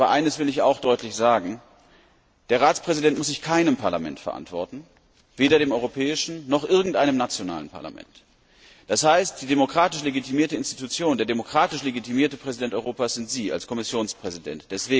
Aber eines will ich auch deutlich sagen Der Ratspräsident muss sich vor keinem Parlament verantworten, weder vor dem Europäischen Parlament noch vor irgendeinem nationalen Parlament. Das heißt, die demokratisch legitimierte Institution, der demokratisch legitimierte Präsident Europas sind Sie als Kommissionspräsident.